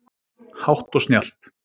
Hátt og snjallt